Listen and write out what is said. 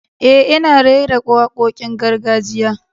Eh, ina rera wakokin gargajiya.